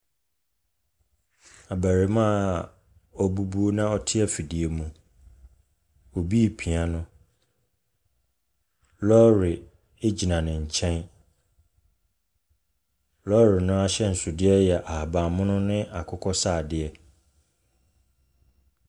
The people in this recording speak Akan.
Abarimaa wabu bu na ɔte afidie mu. Obi epia no. Lɔɔre ɛgyina ne nkyɛn, lɔɔre no ahyɛnsodeɛ yɛ ahabammono ne akokɔsradeɛ.